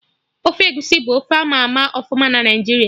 Ofe egusi bụ ofe ama ama ọfụma na Naijiria